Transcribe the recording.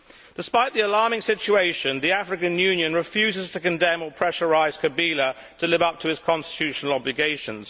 Despite this alarming situation, the African Union refuses to condemn or pressurise Kabila to live up to his constitutional obligations.